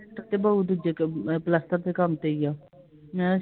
ਲੈਂਟਰ ਤਾਂ ਪਉ ਦੂਜੇ ਕ ਪਲਸਤਰ ਦੇ ਕੰਮ ਤੇ ਈ ਆ